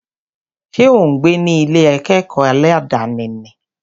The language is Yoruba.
Ṣé ò ń gbé ní Ilé akẹ́kọ̀ọ́ aládàni ni?